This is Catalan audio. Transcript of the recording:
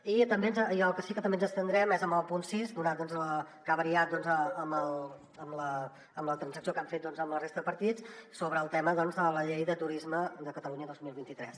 i al que sí que també ens abstindrem és en el punt sis donat que ha variat amb la transacció que han fet amb la resta de partits sobre el tema de la llei de turisme de catalunya dos mil vint tres